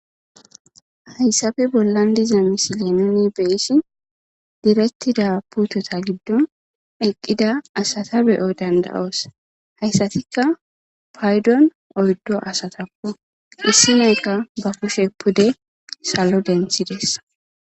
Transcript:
hayssabe bollan diza misile nuni beyissi diretida putota giddon eqqida asata beyo danda7oos hayssatikka paydon oyddo asatakko issineekka ba pushe pude salo denthides